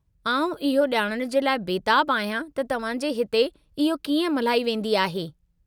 आउं इहो ॼाणण जे लाइ बेताबु आहियां त तव्हांजे हिते इहो कीअं मल्हाई वेंदी आहे।